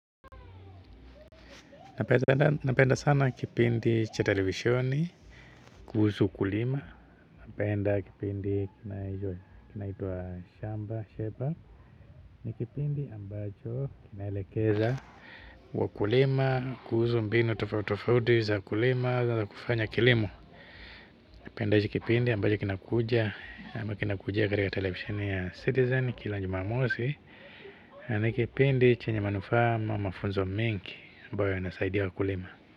Napenda sana kipindi cha televisheni kuhusu ukulima napenda kipindi kinaitwa shamba shepa ni kipindi ambacho kinaelekeza wakulima kuhusu mbinu tofautu tofauti za kulima za kufanya kilimo napenda kipindi ambacho kinakuja ambacho kinakuja katika televisheni ya citizen kila Jumamosi ni kipindi chenye manufaa ama mafunzo mengi ambayo yanasaidia wakulima.